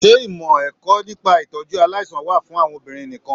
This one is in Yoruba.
Se ìmọ ẹ̀kọ́ nípa itọju aláìsàn wà fún àwọn obìnrin nìkàn?